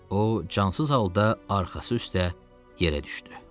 O cansız halda arxası üstə yerə düşdü.